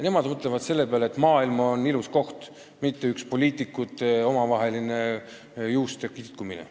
Nemad mõtlevad selle peale, et maailm on ilus koht, mitte paik, kus poliitikud üksteisel juukseid kitkuvad.